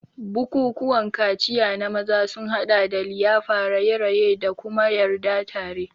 Bukukuwan kaciya na maza sun haɗa da liyafa, raye-raye, da kuma yarda tare.